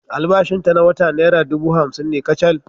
Albashinta na wata nera dubu hamsin ne kacal.